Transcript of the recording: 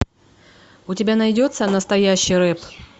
у тебя найдется настоящий рэп